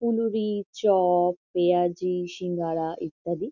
ফুলুরি chop পেঁয়াজি সিঙ্গারা ইত্যাদি --